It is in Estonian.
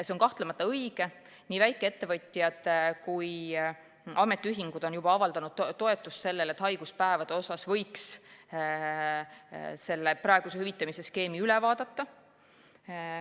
See on kahtlemata õige, aga nii väikeettevõtjad kui ka ametiühingud on juba avaldanud toetust sellele, et haiguspäevade osas võiks praeguse hüvitamisskeemi üle vaadata.